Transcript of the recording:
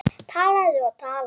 Talaði og talaði.